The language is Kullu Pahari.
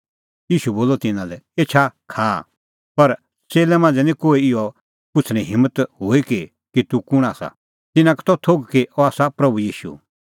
ईशू बोलअ तिन्नां लै एछा खाआ पर च़ेल्लै मांझ़ै निं कोही इहअ पुछ़णें हिम्मत हुई कि तूह कुंण आसा तिन्नां का त थोघ कि अह आसा प्रभू ईशू